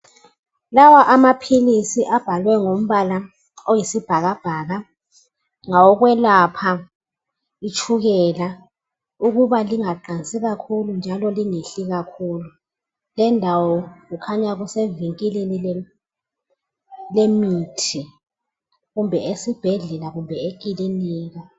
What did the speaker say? Lawa amaphilisi abhalwe ngombala oyisibhakabhaka ngawokwelapha itshukela ukuba lingaqansi kakhulu njalo lingehli kakhulu. Lendawo kukhanya kusevinkilini lemithi, kumbe esibhedlela kumbe ekiliniki.